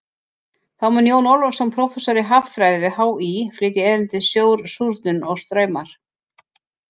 Þá mun Jón Ólafsson, prófessor í haffræði við HÍ, flytja erindið Sjór, súrnun og straumar.